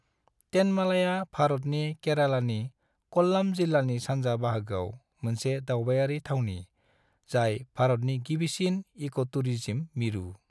तेनमालाया भारतनि केरालानि कल्लाम जिल्लानि सान्जा बाहागोयाव मोनसे दावबायारि थावनि जाय भारतनि गिबिसिन इक'टुरिस्म मिरु।